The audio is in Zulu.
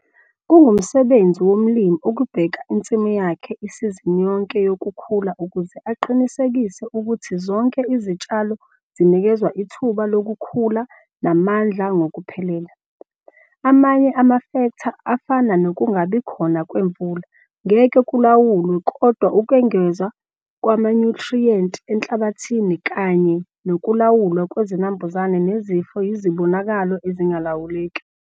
Kungumsebenzi womlimi ukubheka insimu yakhe isizini yonke yokukhula ukuze aqinisekise ukuthi zonke izitshalo zinikezwa ithuba lokukhula namandla ngokuphelele. Amanye amafektha afana nokungabikhona kwemvula ngeke kulawulwe kodwa ukwengezwa kwamanyuthriyenti enhlabathini kanye nokulawulwa kwezinambuzane nezifo yizibonakalo ezingalawuleki.